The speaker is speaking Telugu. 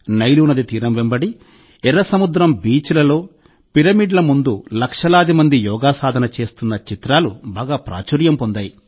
నైలు నది తీరం వెంబడి ఎర్ర సముద్రం బీచ్లలో పిరమిడ్ల ముందు లక్షలాది మంది యోగా సాధన చేస్తున్న చిత్రాలు బాగా ప్రాచుర్యం పొందాయి